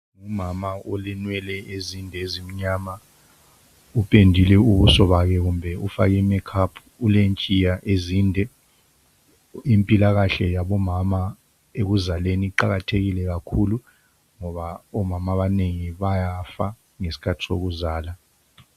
Umama olenwele ezinde ezimnyama upendile ubuso bakhe kumbe ufake i makeup ulentshiya ezinde , impilakahle yabomama ekuzaleni iqakathekile kakhulu ngoba omama abanengi bayafa ngesikhathi sokuzala.